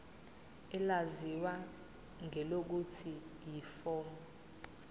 elaziwa ngelokuthi yiform